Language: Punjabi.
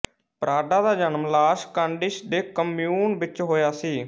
ਪਰਾਡਾ ਦਾ ਜਨਮ ਲਾਸ ਕੰਡਿਸ ਦੇ ਕਮਿਊਨ ਵਿੱਚ ਹੋਇਆ ਸੀ